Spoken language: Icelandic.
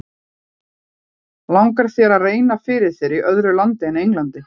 Langar þér að reyna fyrir þér í öðru landi en Englandi?